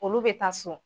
Olu bɛ taa so